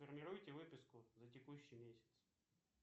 сформируйте выписку за текущий месяц